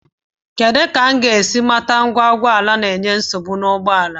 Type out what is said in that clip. Kedụ etu m ga-esi mata ngwa ụgbọala na-enye nsogbu n'ụgbọala m?